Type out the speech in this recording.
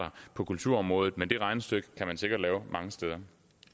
på kulturområdet men det regnestykke kan man sikkert lave mange steder